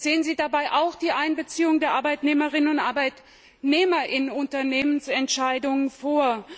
Sehen Sie dabei auch die Einbeziehung der Arbeitnehmerinnen und Arbeitnehmer in Unternehmensentscheidungen vor.